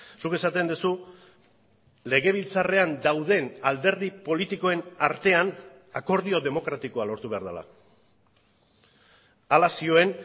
zuk esaten duzu legebiltzarrean dauden alderdi politikoen artean akordio demokratikoa lortu behar dela hala zioen